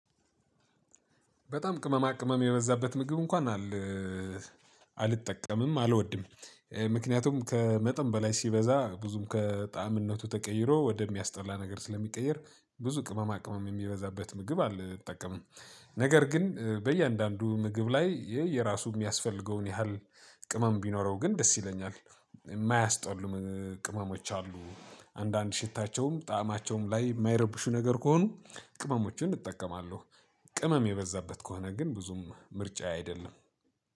በጣም ቅማማ ቅማም የበዛበት ምግብ እንኳን አላ አልጠቀምም አልወድም። ምክንያቱም ከመጠን በላይ ሲበዛ ብዙም ከጣዕምነቱ ተቀይሮ ወደሚያስጠላ ነገር ስለሚቀየር ብዙ ቅመማ ቅመም የሚበዛበት ምግብ አልጠቀምም። ነገር ግን በእያንዳንዱ ምግብ ላይ ይሄ የራሱ የሚያስፈልገውን ያህል ቅመም ቢኖረው ግን ደስ ይለኛል። የማያስጠሉም ቅመሞች አሉ አንዳንድ ሽታቸውም ጣዕማቸውም ላይ የማይረብሹ ነገር ከሆኑ ቅመሞችን እጠቀማለሁ። ቅመም የበዛበት ከሆነ ግን ብዙም ምርጫዬ አይደለም።